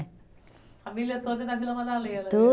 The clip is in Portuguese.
A família toda é da Vila Madalena.